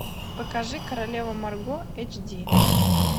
покажи королева марго эйч ди